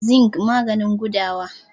zinc maganin gudawa